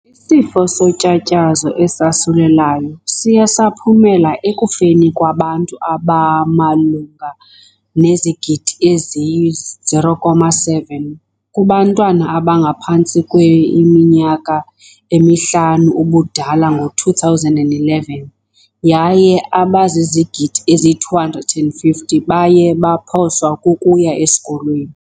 Isifo sotyatyazo esasulelayo siye saphumela ekufeni kwabantu abamalunga nezigidi eziyi- 0.7 kubantwana abangaphantsi kweiminyaka emihlanu ubudala ngo-2011 yaye abazizigidi ezyi-250 baye baphoswa kukuya esikolweni.